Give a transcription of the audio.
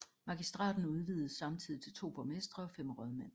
Magistraten udvidedes samtidig til 2 borgmestre og 5 rådmænd